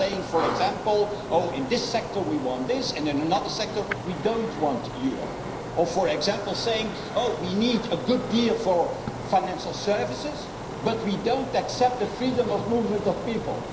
system. You cannot say, for example, in this sector we want this and in another sector we don't want Europe', or we need a good deal for financial services, but we do not accept the freedom of movement of people'.